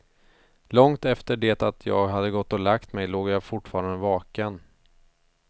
Långt efter det att jag hade gått och lagt mig låg jag fortfarande vaken.